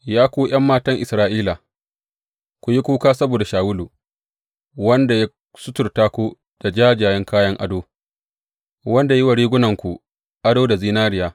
Ya ku ’yan matan Isra’ila, ku yi kuka saboda Shawulu, wanda ya suturta ku da jajjayen kayan ado, wanda ya yi wa rigunarku ado da zinariya.